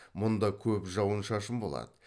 мұнда көп жауын шашын болады